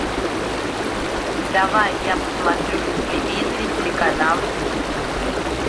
давай я посмотрю на телевизоре телеканал ю